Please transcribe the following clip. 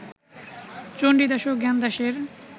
চণ্ডীদাস ও জ্ঞানদাসের